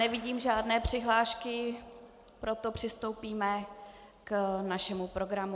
Nevidím žádné přihlášky, proto přistoupíme k našemu programu.